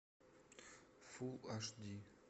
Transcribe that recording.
фул аш ди